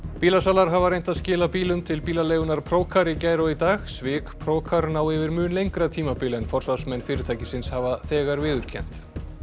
bílasalar hafa reynt að skila bílum til bílaleigunnar Procar í gær og í dag svik ná yfir mun lengra tímabil en forsvarsmenn fyrirtækisins hafa þegar viðurkennt